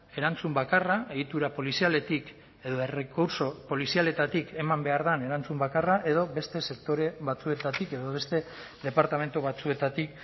erantzun bakarra egitura polizialetik edo errekurtso polizialetatik eman behar den erantzun bakarra edo beste sektore batzuetatik edo beste departamentu batzuetatik